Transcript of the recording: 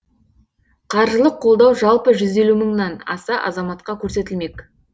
қаржылық қолдау жалпы жүз елу мыңнан аса азаматқа көрсетілмек